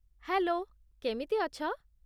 Hello, କେମିତି ଅଛ?